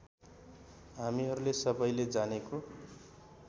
हामीहरूले सबैले जानेको